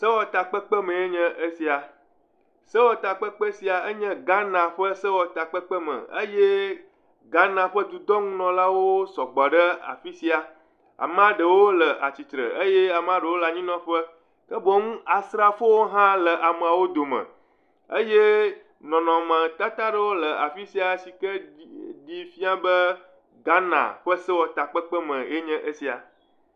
sewɔtakpekpe meɛ nye esia sewɔtakpeƒe sia enye Ghana ƒe sewɔtakpeƒe me eye Ghana dudɔŋunɔlawo sɔgbɔ ɖe afisia amaɖewo le atsitsre eye ɖewo le anyinɔƒe ke boŋ asrafowo hã le ameawo dome eye nɔnɔme tata ɖewo le afisia yike ɖi fiã be Ghana ƒe sewɔtskpekpe me enye sia